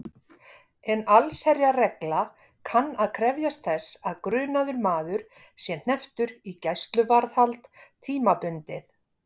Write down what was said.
En allsherjarregla kann að krefjast þess að grunaður maður sé hnepptur í gæsluvarðhald tímabundið.